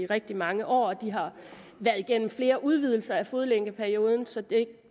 rigtig mange år og de har været igennem flere udvidelser af fodlænkeperioden så jeg